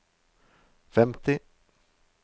femti